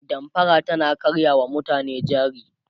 damfara tana karya wa mutane jari